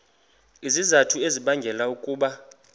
izizathu ezibangela ukuba